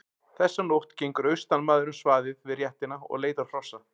Þessa nótt gengur austanmaður um svaðið við réttina og leitar hrossa.